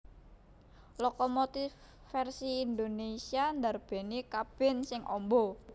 Lokomotif vèrsi Indonésia ndarbèni kabin sing amba